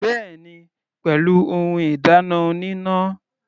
Bẹ́ẹ̀ni, pẹ̀lú ohun ìdáná oníná.